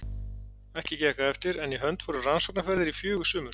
Ekki gekk það eftir, en í hönd fóru rannsóknaferðir í fjögur sumur.